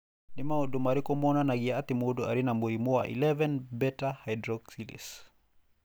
Nĩ maũndũ marĩkũ monanagia atĩ mũndũ arĩ na mũrimũ wa 11 beta hydroxylase?